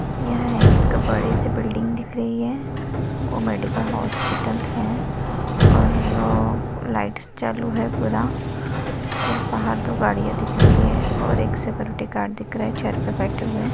यह एक बडी सी बिल्डिंग दिख रही है और मेडिकल हॉस्पिटल है और लाइटस चालू है पूरा और बाहर दो गाड़िया दिख रही है और एक सिक्योरिटी गार्ड दिख रहा है चेयर पे बैठे हुए।